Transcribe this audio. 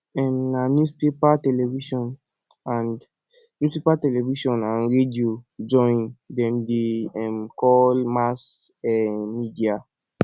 um na newspaper television and newspaper television and radio join dem dey um call mass um media